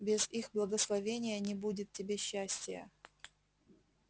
без их благословения не будет тебе счастия